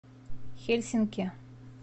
хельсинки